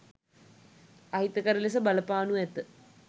අහිතකර ලෙස බලපානු ඇත